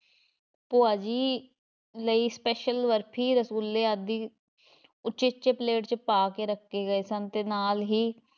ਭੂਆ ਜੀ ਲਈ special ਬਰਫ਼ੀ, ਰਸਗੁੱਲੇ ਅਦਿ ਉਚੇਚੇ ਪਲੇਟ ‘ਚ ਪਾ ਕੇ ਰੱਖੇ ਗਏ ਸਨ ਤੇ ਨਾਲ਼ ਹੀ